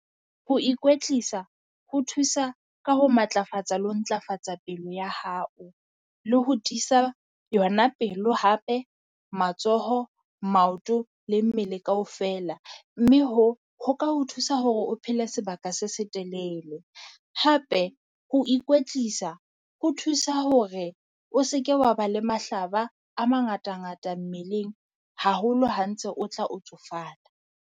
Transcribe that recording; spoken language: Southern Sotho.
Ho ikwetlisa ho thusa ka ho matlafatsa le ho ntlafatsa pelo ya hao. Le ho tiisa yona pelo hape, matsoho, maoto le mmele kaofela, mme hoo ho ka ho thusa hore o phele sebaka se setelele. Hape ho ikwetlisa ho thusa hore o se ke wa ba le mahlaba a mangata-ngata mmeleng haholo ha ntse o tla o tsofala.